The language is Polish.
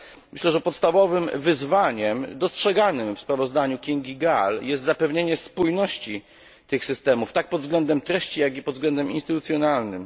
Myślę, że podstawowym wyzwaniem dostrzeganym w sprawozdaniu Kingi Gál jest zapewnienie spójności tych systemów, tak pod względem treści jak i pod względem instytucjonalnym.